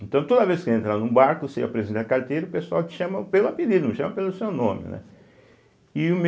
Então, toda vez que vai entrar num barco, você apresenta a carteira, o pessoal te chama pelo apelido, não chama pelo seu nome, né? e o